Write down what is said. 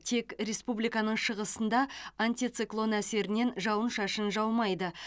тек республиканың шығысында антициклон әсерінен жауын шашын жаумайды